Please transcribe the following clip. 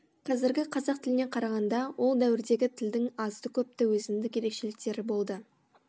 қазіргі қазақ тіліне қарағанда ол дәуірдегі тілдің азды көпті өзіндік ерекшеліктері болды